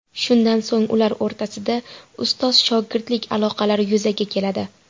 Shundan so‘ng ular o‘rtasida ustoz-shogirdlik aloqalari yuzaga keladi.